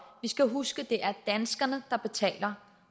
skal huske at det er danskerne der betaler